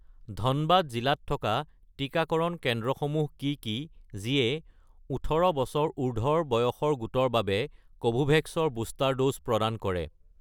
ধনবাদ জিলাত থকা টিকাকৰণ কেন্দ্ৰসমূহ কি কি যিয়ে ১৮ বছৰ উৰ্ধ্বৰ বয়সৰ গোটৰ বাবে কোভোভেক্স ৰ বুষ্টাৰ ড'জ প্ৰদান কৰে